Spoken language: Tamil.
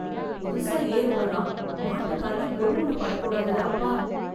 புதுசா ஏர் உழுறான். மாட்டு கால்ல கொழு முனை படக்கூடாதுடா அப்பா.